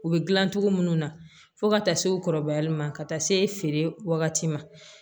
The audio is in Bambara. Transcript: U bɛ dilancogo minnu na fo ka taa se u kɔrɔbayali ma ka taa se feere wagati ma